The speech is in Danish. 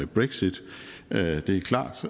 brexit det er klart